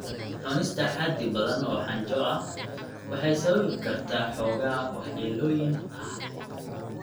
Cunista xaddi badan oo xanjo ah waxay sababi kartaa xoogaa waxyeelooyin ah.